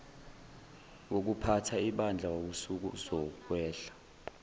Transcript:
wokuphatha ibandla wawusuzokwehla